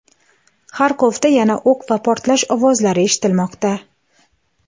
Xarkovda yana o‘q va portlash ovozlari eshitilmoqda.